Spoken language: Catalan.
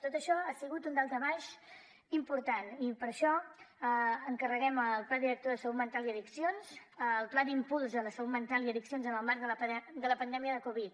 tot això ha sigut un daltabaix important i per això encarreguem el pla director de salut mental i addiccions el pla d’impuls a la salut mental i addiccions en el marc de la pandèmia de covid